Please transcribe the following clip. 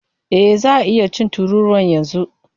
E, za a iya cin tururuwan yanzu.